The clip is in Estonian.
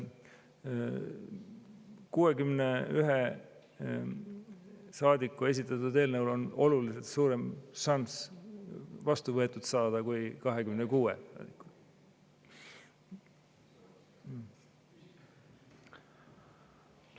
61 saadiku esitatud eelnõul on oluliselt suurem šanss vastu võetud saada kui 26 saadiku eelnõul.